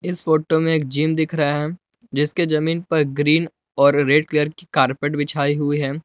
इस फोटो में एक जिम दिख रहा है जिसके जमीन पर ग्रीन और रेड कलर की कारपेट बिछाई हुई है।